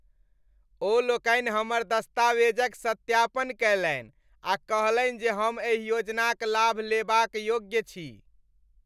ओ लोकनि हमर दस्तावेजक सत्यापन कयलनि आ कहलनि जे हम एहि योजनाक लाभ लेबा क योग्य छी।